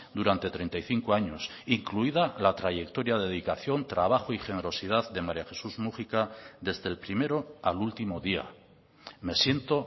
durante treinta y cinco años incluida la trayectoria dedicación trabajo y generosidad de maría jesús múgica desde el primero al último día me siento